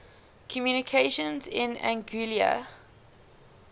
communications in anguilla